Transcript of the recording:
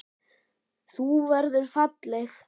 Þú verður falleg.